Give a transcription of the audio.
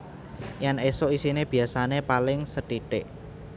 Yen esuk isine biasane paling sethithik